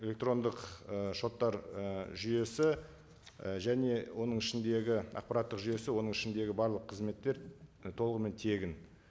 электрондық ы шоттар ы жүйесі і және оның ішіндегі ақпараттық жүйесі оның ішіндегі барлық қызметтер толығымен тегін